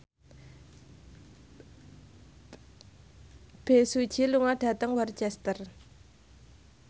Bae Su Ji lunga dhateng Worcester